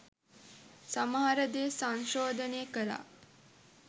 සමහර දේ සංශෝදනය කලා